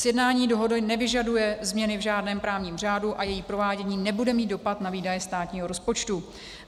Sjednání dohody nevyžaduje změny v žádném právním řádu a její provádění nebude mít dopad na výdaje státního rozpočtu.